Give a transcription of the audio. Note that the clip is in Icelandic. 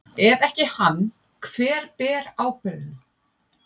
Ef ekki hann, hver ber ábyrgðina?